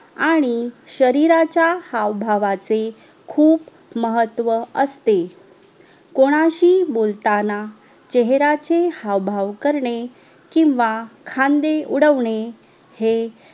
आणि शरीराच्या हावभावाचे खूप महत्व असते कोणाशी बोलतांना चेहराचे हावभाव करने किव्हा खांदे उडवणे हे